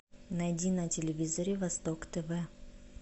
найди на телевизоре восток тв